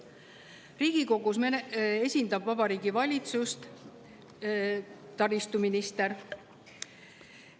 Riigikogus esindab Vabariigi Valitsust taristuminister.